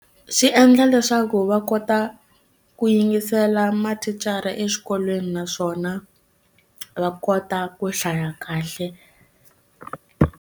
Swi endla leswaku va kota ku yingisela mathicara exikolweni naswona va kota ku hlaya kahle.